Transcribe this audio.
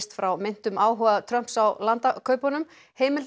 frá meintum áhuga Trumps á landakaupunum